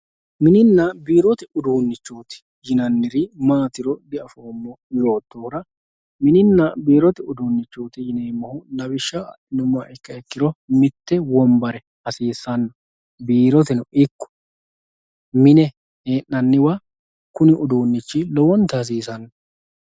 mininna biirote uduunichooti yinanniri maatiro di"afoomo yootohura mininna biirote uduunichooti yineemohu lawishsha adhinummoha ikkiha ikkiro mitte wonbare hasiissanno biiroteno ikko mine hee'nanniwa kuni uduunichi lowonta hasiisanno